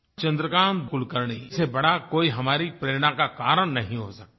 चन्द्रकान्त कुलकर्णी से बड़ा कोई हमारी प्रेरणा का कारण नहीं हो सकता है